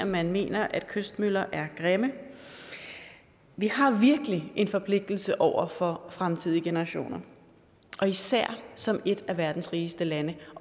man mener at kystmøller er grimme vi har virkelig en forpligtelse over for fremtidige generationer og især som et af verdens rigeste lande